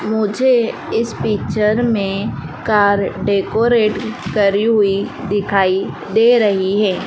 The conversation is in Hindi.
मुझे इस पिक्चर में कार डेकोरेट करी हुई दिखाई दे रही है।